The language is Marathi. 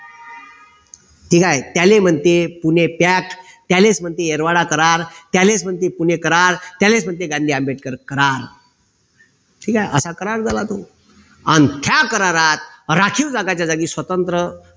ठीक आहे त्याले म्हणते पुणे करार त्यालाच म्हणते एरवाडा करार त्याले म्हणते पुणे करार त्यालाच म्हणते गांधी आंबेडकर करार ठीक आहे असा करार झाला तो अन ह्या करारात राखीव जगाच्या जागी स्वतंत्र